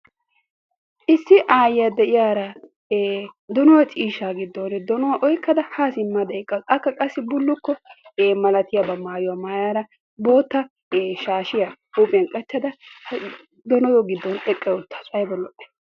Issi aayyiya de'iyara we donuwa ciishsha giddon donuwa oykkada haa simmada eqqaasu. Akka qassi bullukko malatiyaba maayada bootta shaashiya huuphiyan qachchada donuwa giddon eqqa uttaasu.